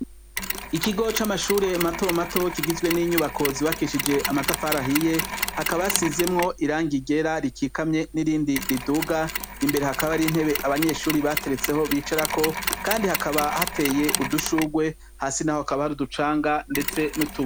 Ikigo c’amashure mato mato kigizwe n’inyubako zubakishije amatafari ahiye, hakaba hasizemwo irangi ryera rikikamye n’irindi riduga, imbere hakaba har’intebe abanyeshure bateretseho bicarako, Kandi hakaba hateye udushurwe, hasi naho hakaba hari uducanga ndetse nutu